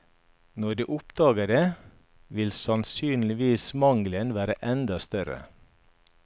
Når de oppdager det, vil sannsynligvis mangelen være enda større.